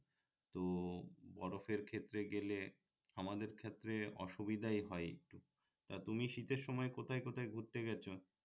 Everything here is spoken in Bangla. তো বরফের ক্ষেত্রে গেলে আমাদের ক্ষেত্রে অসুবিধাই হয় একটু তা তুমি শীতের সময় কোথায় কোথায় ঘুরতে গেছো